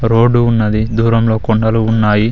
Road ఉన్నది దూరంలో కొండలు ఉన్నాయి.